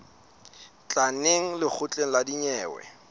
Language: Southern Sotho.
tla neng lekgotleng la dinyewe